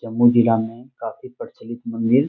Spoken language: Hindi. जम्मू जिला में काफी प्रचलित मंदिर --